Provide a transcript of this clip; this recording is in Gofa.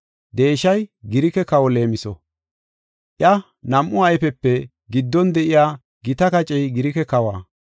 Deeshay Girike kawa leemiso; iya nam7u ayfiyape giddon de7iya gita kacey Girike kawa.